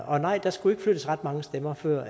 og nej der skulle ikke flyttes ret mange stemmer før